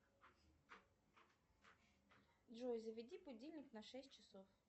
джой заведи будильник на шесть часов